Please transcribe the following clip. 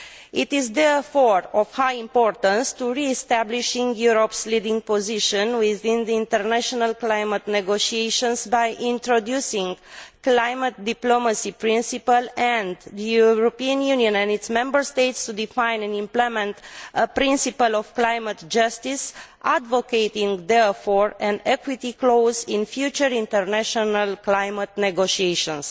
It is therefore of high importance to re establish Europe's leading position within the international climate negotiations by introducing the climate diplomacy principle, and for the European Union and its Member States to define and implement a principle of climate justice, advocating therefore an equity clause in future international climate negotiations.